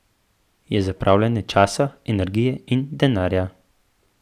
Je zapravljanje časa, energije in denarja.